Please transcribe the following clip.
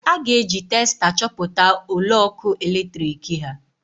A ga-eji testa chọpụta ole ọkụ eletrik ha